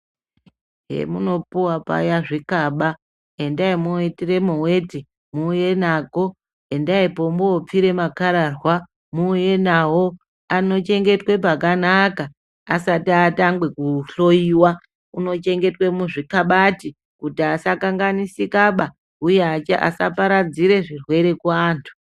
Pemunopuwa paya zvikaba endaimwoitiremwo weti, muuye nako, endaipo mwopfire makararwa, muuye nawo, anochengetwe pakanaka asati atanga kuhloyiwa unochengetwe muzvikabati kuti asakanganisikaba uye asaparadzire zvirwere kuantu.